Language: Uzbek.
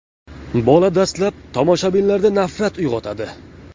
Bola dastlab tomoshabinlarda nafrat uyg‘otadi.